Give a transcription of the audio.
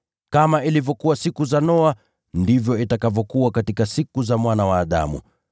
“Kama ilivyokuwa siku za Noa, ndivyo itakavyokuwa katika siku za Mwana wa Adamu.